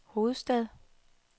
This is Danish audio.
hovedstad